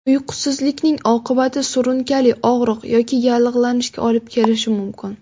Uyqusizlikning oqibati surunkali og‘riq yoki yallig‘lanishga olib kelishi mumkin.